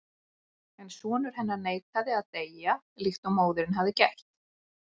En sonur hennar neitaði að deyja líkt og móðirin hafði gert.